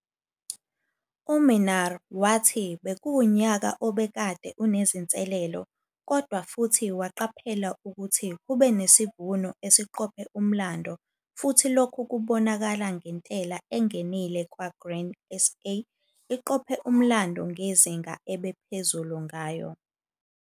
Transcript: U-Minnaar wathi bekuwunyaka obekade unezinselelo kodwa futhi waqaphela ukuthi kube nesivuno esiqophe umlando futhi lokhu kubonakala ngentela engenile kwa-Grain SA iqophe umlando ngezinga ebe phezulu ngayo.